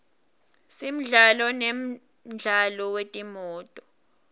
simdlalo nemjaho wetimoto